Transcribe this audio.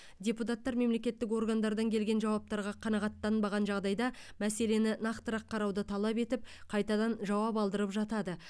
депутаттар мемлекеттік органдардан келген жауаптарға қанағаттанбаған жағдайда мәселені нақтырақ қарауды талап етіп қайтадан жауап алдырып жатады